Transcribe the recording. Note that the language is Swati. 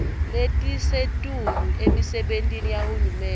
letisetulu emisebentini yahulumende